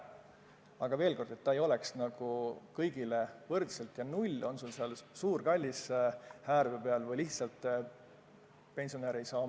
Aga veel kord: maamaks ei tohiks olla kõigile võrdselt null, on sul seal suur kallis häärber peal või lihtsalt pensionäri väike majake.